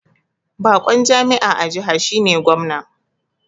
Bakon jami'a a jiha shine Gwamna